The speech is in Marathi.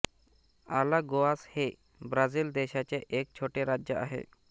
आलागोआस हे ब्राझिल देशाचे एक छोटे राज्य आहे